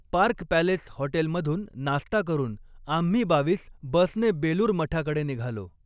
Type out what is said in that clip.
Park Rajwada हॉटेलमधून नास्ता करून आम्ही बावीस बसने बेलूर मठाकडे निघालो.